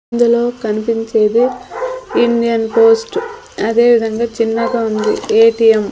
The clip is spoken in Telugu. ఇందులో కనిపించేది ఇండియన్ పోస్ట్ అదే విధంగా చిన్నగా ఉంది ఏ_టీ_యం .